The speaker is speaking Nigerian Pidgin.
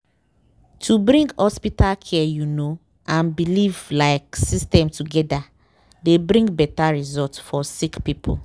to bring hospital care you know and belief like system togeda dey bring beta result for sick poeple.